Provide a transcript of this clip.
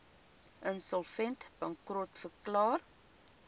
insolvent bankrot verklaar